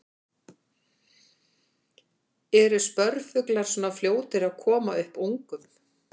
Eru spörfuglar svona fljótir að koma upp ungum?